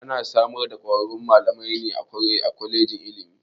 Ana samar da kwararrun malamai ne a kwalejin ilimi.